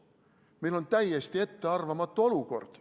Meil on täiesti ettearvamatu olukord.